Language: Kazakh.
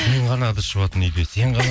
мен ғана ыдыс жуатын үйде сен ғана